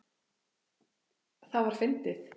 Það var fyndið.